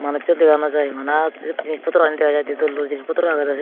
manuchu dega no jay bana jinich potro gani dega jiy d dol dol jinich potro agey dow sidu.